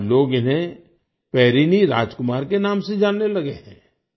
आज लोग इन्हें पेरिनी राजकुमार के नाम से जानने लगे हैं